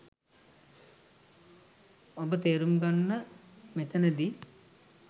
ඔබ තේරුම් ගන්න මෙතනදි